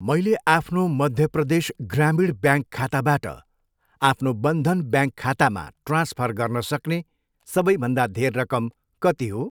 मैले आफ्नो मध्य प्रदेश ग्रामीण ब्याङ्क खाताबाट आफ्नो बन्धन ब्याङ्क खातामा ट्रान्सफर गर्न सक्ने सबैभन्दा धेर रकम कति हो?